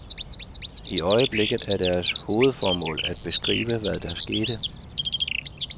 I øjeblikket er deres hovedformål at beskrive, hvad der skete.